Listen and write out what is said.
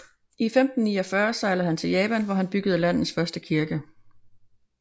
I 1549 sejlede han til Japan hvor han byggede landets første kirke